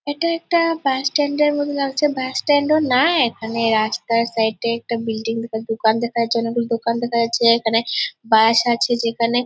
এটা একটা bus stand এর মতো লাগছে বাস স্ট্যান্ড ও না এখানে রাস্তার সাইড এ একটা বিল্ডিং দোকান যাচ্ছে দোকান দেখা যাচ্ছে এখানে বাস আছে যেখানে।